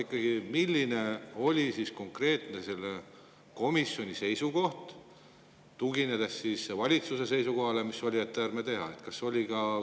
Aga milline ikkagi konkreetselt oli komisjoni seisukoht valitsuse seisukohaga, mis oli, et ei tehta?